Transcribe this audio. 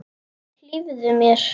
Hlífðu mér.